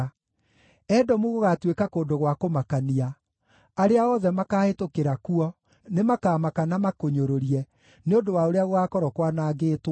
“Edomu gũgaatuĩka kũndũ gwa kũmakania; arĩa othe makaahĩtũkĩra kuo nĩmakamaka na makũnyũrũrie, nĩ ũndũ wa ũrĩa gũgaakorwo kwanangĩtwo.